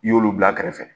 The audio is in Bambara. I y'olu bila kɛrɛfɛ